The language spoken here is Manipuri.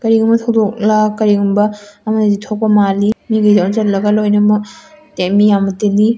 ꯀꯔꯤꯒꯨꯝꯕ ꯊꯧꯗꯣꯛꯂ ꯀꯔꯤꯒꯨꯃꯕ ꯑꯃꯗꯤ ꯊꯣꯛꯄ ꯃꯜꯂꯤ ꯃꯤꯒꯩꯁꯦ ꯑꯣꯟꯁꯜꯂꯒ ꯂꯣꯢꯅꯃꯛ ꯃꯤꯌꯝꯅ ꯇꯤꯜꯂꯤ꯫